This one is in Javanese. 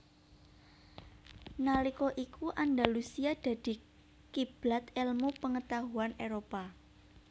Nalika iku Andalusia dadi kiblat elmu pengetahuan Éropah